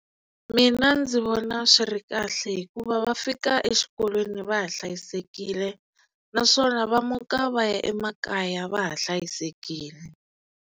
Mina ndzi vona swi ri kahle hikuva va fika exikolweni va ha hlayisekile naswona va muka va ya emakaya va ha hlayisekile.